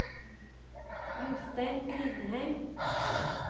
Jostein Grindheim